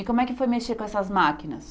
E como é que foi mexer com essas máquinas?